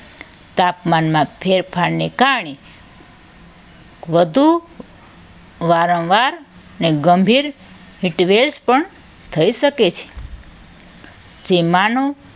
તાપમાનના ફેરફારને કારણે વધુ વારંવાર મેં ગંભીર હીટ વેવ્સ પણ થઈ શકે છે. જે માનુ